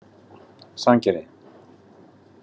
Sandgerði